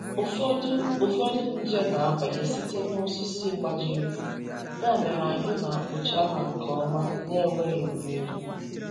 Ụfọdụ Ụfọdụ nje na-abanye site n’osisi gbajiri, ya mere anyị na-akpụcha ha nke ọma n’enweghị imerụ.